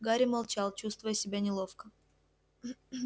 гарри молчал чувствуя себя неловко